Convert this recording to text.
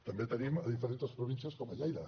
també ho tenim en diferentes províncies com a lleida